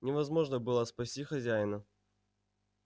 невозможно было спасти хозяина